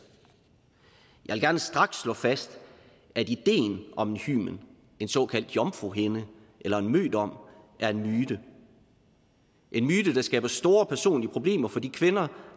jeg vil gerne straks slå fast at ideen om en hymen en såkaldt jomfruhinde eller en mødom er en myte en myte der skaber store personlige problemer for de kvinder